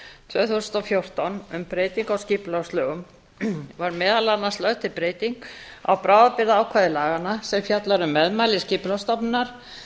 þúsund og fjórtán um breytingu á skipulagslögum var meðal annars lög til breyting á bráðabirgðaákvæði laganna sem fjallar um meðmæli skipulagsstofnunar